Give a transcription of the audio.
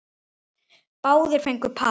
Báðir fengu par.